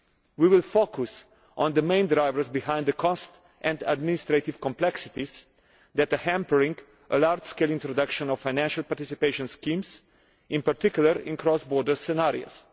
We will focus on the main drivers behind the cost and administrative complexities that are hampering a large scale introduction of financial participation schemes, in particular in cross border scenarios.